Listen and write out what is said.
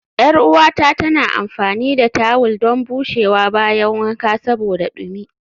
Yar uwata tana amfani da tawul don bushewa bayan wanka saboda dumi